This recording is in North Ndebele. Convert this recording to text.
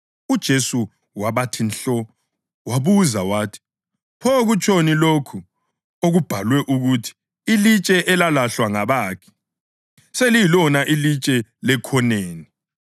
UJesu wabathi nhlo, wabuza wathi, “Pho kutshoni lokho okubhalwe ukuthi: ‘Ilitshe elalahlwa ngabakhi seliyilona ilitshe lekhoneni?’ + 20.17 AmaHubo 118.22